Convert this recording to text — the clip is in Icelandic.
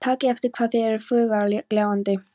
Takið eftir hvað þeir eru fagurgljáandi.